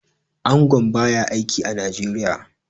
Angon ba ya aiki a Nigeria.